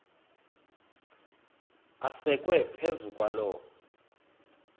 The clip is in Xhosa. asekwe phezu kwaloo